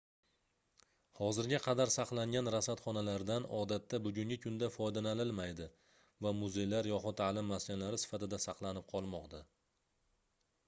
hozirga qadar saqlangan rasadxonalardan odatda bugungi kunda foydalanilmaydi va muzeylar yoxud taʼlim maskanlari sifatida saqlanib qolmoqda